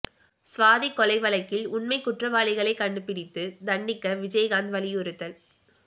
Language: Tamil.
சுவாதி கொலை வழக்கில் உண்மை குற்றவாளிகளை கண்டுபிடித்து தண்டிக்க விஜயகாந்த் வலியுறுத்தல்